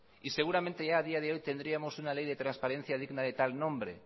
y seguramente ya a día de hoy tendríamos una ley de transparencia digna de tal nombre